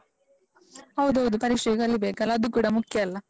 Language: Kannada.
ಹೌದೌದು, ಪರೀಕ್ಷೆಗೆ ಕಲೀಬೇಕಲ್ಲ ಅದೂ ಕೂಡ ಮುಖ್ಯ ಅಲ್ಲ?